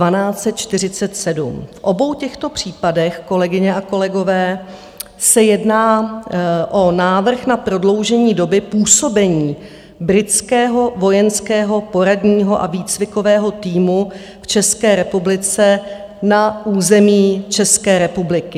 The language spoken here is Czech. V obou těchto případech, kolegyně a kolegové, se jedná o návrh na prodloužení doby působení Britského vojenského poradního a výcvikového týmu v České republice na území České republiky.